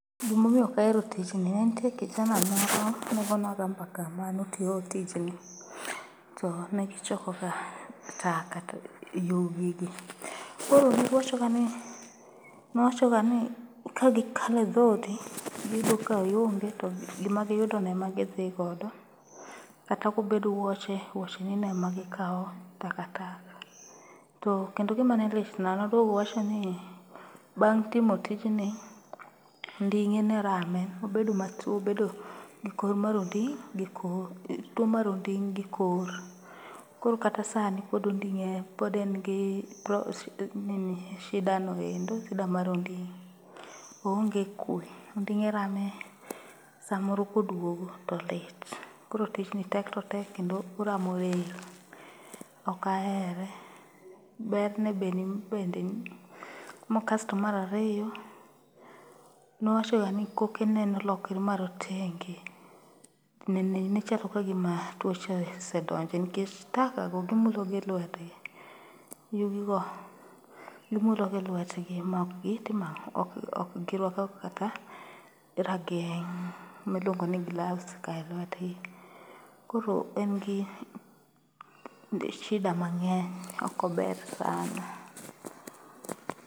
Gimomiyo ok ahero tijni, nitie kijana moro ne gonwa ga mbaka manotiyo tijni. To negichokoga taka, yugigi. Koro nowachoga ni kagikalo e dhodi giyudo ka ionge to gimagiyudono ema gidhigodo kata obed wuoche wuochenino ema gikawa takataka. Kendo gima ne litna, nodwogo owacho ni, bang' timo tijni onding'e ne rame, obedo matuo, obedo gi tuo mar onding' gi kor. Koro kata sani pod en gi shida no endo, shida mar onding'. Oonge kwe, onding'e rame samoro kodwogo to lit. Koro tijni tek to tek kendo oramo del, ok ahere. Kasto mar ariyo, nowachoga ni kokene nolokore marotenge. Ne ochako ka gima tuoche osedonje nikech taka go gimulo gi lwetgi, yugi go gimulo gi lwetgi mokgitimo ang'o, ok giruako kata rageng' miluongo ni gloves ka e lwetgi. Koro en gi shida mang'eny ok ober sana.